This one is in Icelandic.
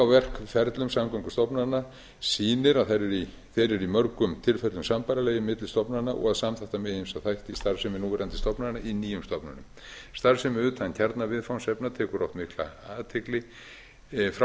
verkferlum samgöngustofnana sýnir að þær eru í mörgum tilfellum sambærilegir milli stofnana og að samþætta megi ýmsa þætti starfsemi núverandi stofnana í nýjum stofnunum starfsemi utan kjarnaviðfangsefna tekur oft mikla athygli frá